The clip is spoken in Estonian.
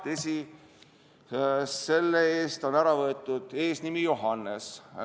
Tõsi, selle eest on ära võetud eesnimi Johannes.